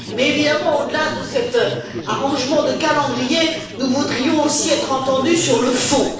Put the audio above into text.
Mais, évidemment, au delà de cet arrangement de calendrier, nous voudrions aussi être entendus sur le fond.